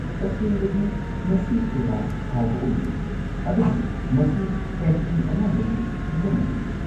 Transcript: ꯇꯁꯦꯡꯕꯗꯤ ꯃꯁꯤ ꯀꯌꯥ ꯍꯥꯎꯕ ꯑꯣꯏꯗꯦ, ꯑꯗꯨꯕꯨ ꯃꯁꯤ ꯀꯦꯟꯇꯤꯟ ꯑꯌꯥꯝꯕꯒꯤ ꯐꯤꯕꯝ ꯑꯗꯨꯅꯤ꯫